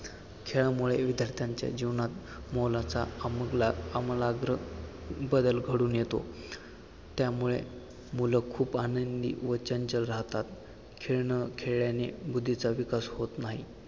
खेळामुळे विद्यार्थ्यांच्या जीवनात मोलाचा आमूलाग् आमूलाग्र बदल घडून येतो. त्यामुळे मुलं खूप आनंदी व चंचल राहतात. खेळ न खेळल्याने बुद्धीचा विकास होत नाही.